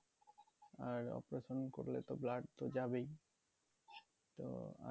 আর operation করলে তো blood তো যাবেই তো আর